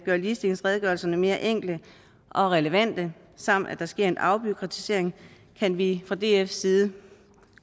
ligestillingsredegørelserne mere enkle og relevante samt at der sker en afbureaukratisering kan vi fra dfs side